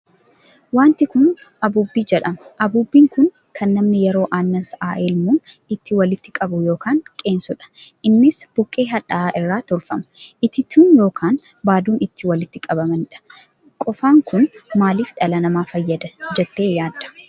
Wanti kun abuubbii jedhama. abuubbiin kun kan namni yeroo annaan sa'aa helmuun ittiin walitti qabu ykn qeensuudha. Innis buqqee hadha'aa irraa tolfama. itittuu ykn baaduu ittiin walitti qabaniidha. Qofaan kun maaliif dhala nama fayyada jettee yaadda?